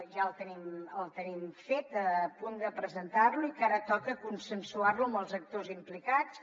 ja el tenim fet a punt de presentar lo i que ara toca consensuar lo amb els actors implicats